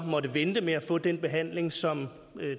måtte vente med at få den behandling som